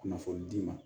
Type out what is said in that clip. Kunnafoni d'i ma